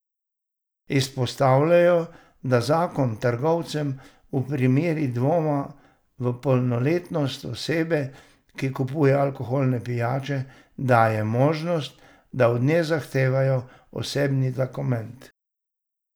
Izpostavljajo, da zakon trgovcem v primeru dvoma v polnoletnost osebe, ki kupuje alkoholne pijače, daje možnost, da od nje zahtevajo osebni dokument.